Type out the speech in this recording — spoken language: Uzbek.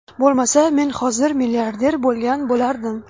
Bo‘lmasa, men hozir milliarder bo‘lgan bo‘lardim.